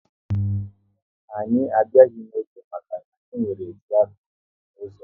Anyị abịaghị n'oge maka na-enwere trafik n'ụzọ